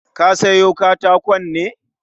Ka siyo katakon ne?